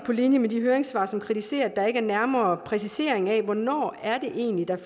på linje med de høringssvar som kritiserer at der ikke er en nærmere præcisering af hvornår der egentlig